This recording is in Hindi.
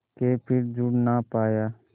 के फिर जुड़ ना पाया